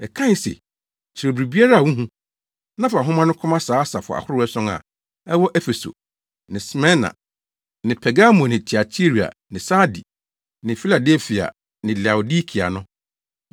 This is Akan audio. Ɛkae se, “Kyerɛw biribiara a wuhu, na fa nhoma no kɔma saa asafo ahorow ason a ɛwɔ Efeso ne Smirna ne Pergamo ne Tiatira ne Sardi ne Filadelfia ne Laodikea no.”